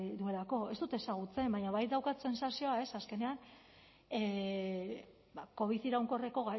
duelako ez dut ezagutzen baina bai daukat sentsazioa azkenean covid iraunkorreko